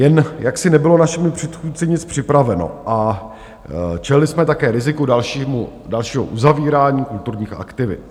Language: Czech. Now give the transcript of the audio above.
Jen jaksi nebylo našimi předchůdci nic připraveno a čelili jsme také riziku dalšího uzavírání kulturních aktivit.